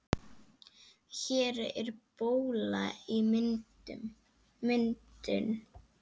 Hér er bóla í myndun.